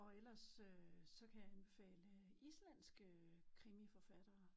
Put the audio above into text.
Og ellers øh så kan jeg anbefale islandske krimiforfattere